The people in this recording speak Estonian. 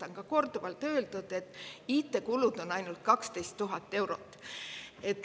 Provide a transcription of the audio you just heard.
On korduvalt öeldud, et IT-kulud on ainult 12 000 eurot.